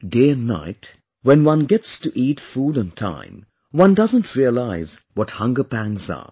Day and night, when one gets to eat food on time, one doesn't realize what hunger pangs are